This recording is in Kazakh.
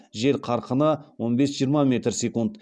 жел қарқыны он бес жиырма метр секунд